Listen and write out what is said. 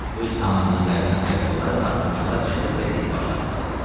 Öz komandirlərindən fərqli olaraq harpunçular cəsur və dilibaş tayfadır.